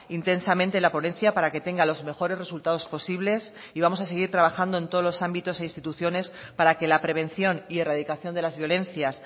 intensamente la ponencia para que tenga los mejores resultados posibles y vamos a seguir trabajando en todos los ámbitos e instituciones para que la prevención y erradicación de las violencias